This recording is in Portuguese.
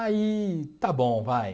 Aí, está bom, vai.